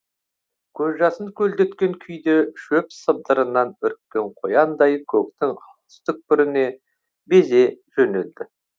көз жасын көлдеткен күйде шөп сыбдырынан үріккен қояндай көктің алыс түкпіріне безе жөнелді